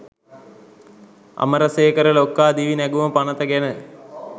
අමරසේකර ලොක්කා දිවි නැගුම පනත ගැන